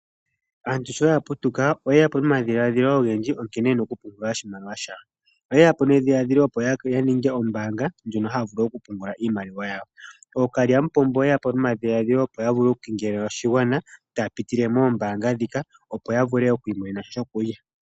Aantu sho ya putuka oye ya po nomadhiladhilo ogendji gankene ye na okupungula oshimaliwa shawo. Oye ya po nedhiladhilo opo ya ninge ombaanga ndjono haya vulu okupungula iimaliwa yawo. Ookalyamupombo oye ya po nomadhiladhilo, opo ya vule okukengelela oshigwana taya pitile moombaanga ndhika, opo ya vule oku imonena sha shokulya.